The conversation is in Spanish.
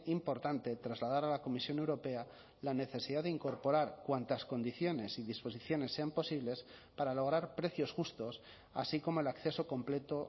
importante trasladar a la comisión europea la necesidad de incorporar cuántas condiciones y disposiciones sean posibles para lograr precios justos así como el acceso completo